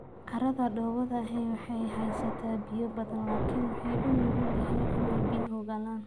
Carrada dhoobada ahi waxay haysaa biyo badan laakiin waxay u nugul yihiin inay biyuhu galaan.